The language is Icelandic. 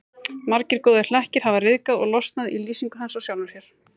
Margir góðir hlekkir hafa ryðgað og losnað í lýsingu hans á sjálfum sér.